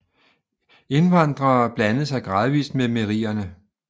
Indvandrene blandede sig gradvist med merierne